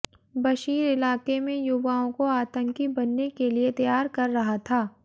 बशीर इलाके में युवाओं को आतंकी बनने के लिए तैयार कर रहा था